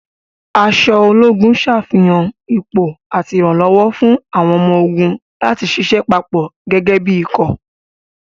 Aṣọ ológun ṣàfihàn ipò àti ìrànlọ́wọ́ fún àwọn ọmọ-ogun láti ṣiṣẹ́ papọ̀ gẹ́gẹ́ bí ikọ̀.